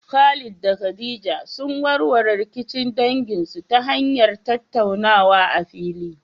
Khalid da Khadija sun warware rikicin danginsu ta hanyar tattaunawa a fili.